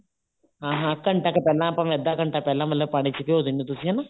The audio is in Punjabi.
ਹਾਂ ਹਾਂ ਘੰਟਾ ਕੁ ਪਹਿਲਾਂ ਅੱਧਾ ਘੰਟਾ ਪਹਿਲਾਂ ਮਤਲਬ ਪਾਣੀ ਚ ਭਿਉ ਦਿੰਨੇ ਹੋ ਤੁਸੀਂ ਹਨਾ